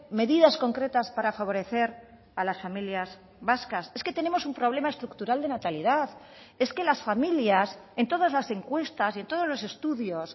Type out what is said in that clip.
medidas concretas para favorecer a las familias vascas es que tenemos un problema estructural de natalidad es que las familias en todas las encuestas y en todos los estudios